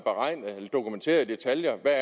dokumenteret i detaljer hvad